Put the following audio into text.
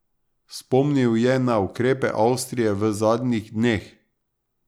Spomnil je na ukrepe Avstrije v zadnjih dneh.